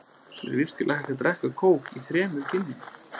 Er virkilega hægt að drekka kók í þremur kynjum?